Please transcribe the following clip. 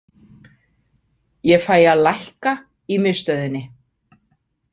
Ég fæ að lækka í miðstöðinni.